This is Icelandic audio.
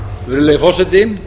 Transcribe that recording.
virðulegi forseti